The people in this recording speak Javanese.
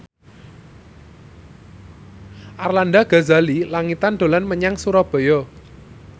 Arlanda Ghazali Langitan dolan menyang Surabaya